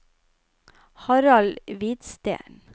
Harald Hvidsten